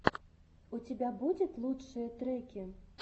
у тебя будет лучшие треки